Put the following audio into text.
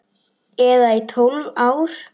Eða í tólf ár?